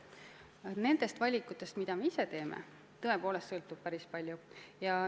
Aga nendest valikutest, mida me ise teeme, tõepoolest sõltub päris palju.